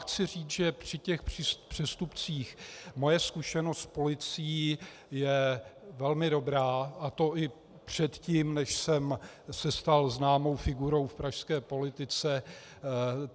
Chci říct, že při těch přestupcích moje zkušenost s policií je velmi dobrá, a to i předtím, než jsem se stal známou figurou v pražské politice.